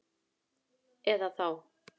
Eða þá